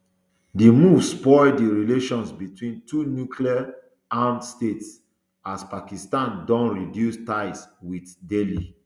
di move spoil di relations between two nuclear armed states as pakistan don reduce ties wit delhi